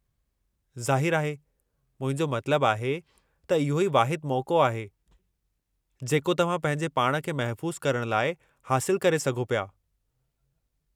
ज़ाहिरु आहे। मुंहिंजो मतिलबु आहे त इहो ई वाहिदु मौक़ो आहे जेको तव्हां पंहिंजे पाण खे महफ़ूज़ु करणु लाइ हासिलु करे सघो पिया।